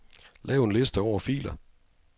Lav en liste over filer.